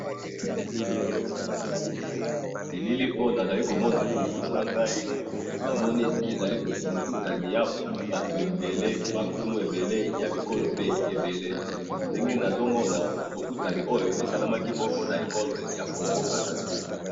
Elili oyo nazomona liboso nangayi, namoni eza bokutani yabatu ebele bankumu ebele yabikoro mpe ebele, ndenge nazomona bokutami oyo esalamaki bongo na congo Brazzaville.